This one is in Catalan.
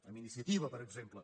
amb iniciativa per exemple